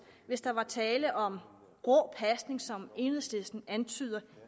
hvis der var tale om grå pasning som enhedslisten antyder